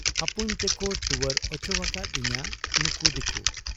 ᱟᱹᱯᱩᱧ ᱛᱮᱠᱚ ᱴᱩᱣᱟᱹᱨ ᱚᱪᱚᱣᱟᱠᱟᱫ ᱤᱧᱟ ᱱᱩᱠᱩ ᱫᱤᱠᱩ ᱾